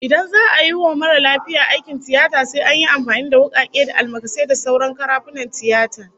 Idan za'a yi wa mara lafiya aikin tiyata sai an yi amfani da wukake da almakasai da sauran karafunan tiyata